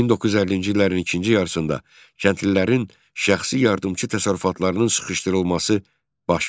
1950-ci illərin ikinci yarısında kəndlilərin şəxsi yardımçı təsərrüfatlarının sıxışdırılması baş verdi.